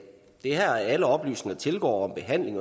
er her alle oplysninger tilgår